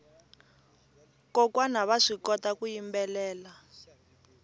kokwana vaswi kota ku yimbelela